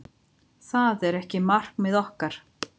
Það er ekki markmið okkar.